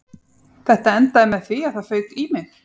Þetta endaði með því að það fauk í mig